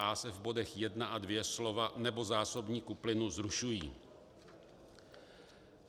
a) se v bodech 1 a 2 slova "nebo zásobníku plynu" zrušují